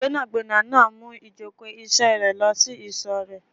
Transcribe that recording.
Gbẹ́nàgbẹ́nà náà mú ìjókòó ìṣe rẹ lọ sí ìsò rèé